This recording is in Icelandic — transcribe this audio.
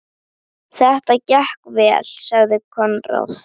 Þetta gekk vel, sagði Konráð.